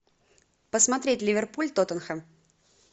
посмотреть ливерпуль тоттенхэм